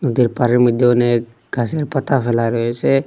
নদীর পাড়ের মধ্যে অনেক গাছের পাতা ফেলা রয়েসে।